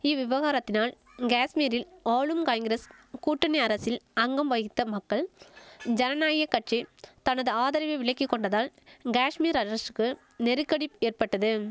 இவ்விவகாரத்தினால் கேஷ்மீரில் ஆளும் காங்கிரஸ் கூட்டணி அரசில் அங்கம் வகித்த மக்கள் ஜனநாய கட்சி தனது ஆதரவை விலக்கி கொண்டதால் கேஷ்மீர் அரஷுக்கு நெருக்கடி ஏற்பட்டதும்